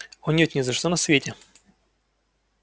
о нет ни за что на свете